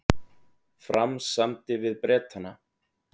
Fram samdi við Bretana